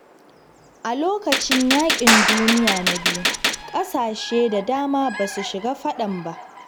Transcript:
A lokacin yaƙin Duniya Na Biyu, ƙasashe da dama ba su shiga fadan ba.